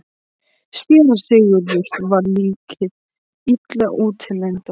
SÉRA SIGURÐUR: Var líkið illa útlítandi?